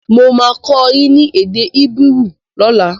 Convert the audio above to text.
Mo máa kọ́ ẹ ní èdè Hébérù lóla